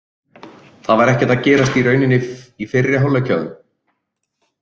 Það var ekkert að gerast í rauninni í fyrri hálfleik hjá þeim.